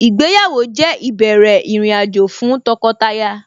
Ìgbéyàwó jẹ́ ìbẹ̀rẹ̀ ìrìnàjò fún tọkọtaya